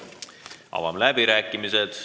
Avan läbirääkimised.